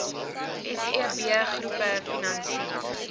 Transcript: seb groepe finansier